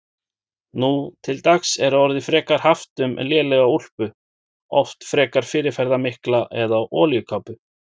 Nú til dags er orðið frekar haft um lélega úlpu, oft frekar fyrirferðarmikla, eða olíukápu.